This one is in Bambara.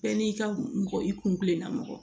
Bɛɛ n'i ka mɔgɔ i kun kilenna mɔgɔ ye